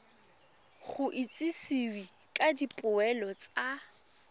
go itsisiwe ka dipoelo tsa